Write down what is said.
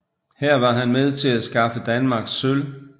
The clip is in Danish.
Her var han med til at skaffe Danmark sølv